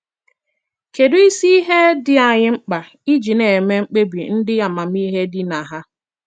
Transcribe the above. Kedụ isi ihe dị anyị mkpa iji na - eme mkpebi ndị amamihe dị na ha?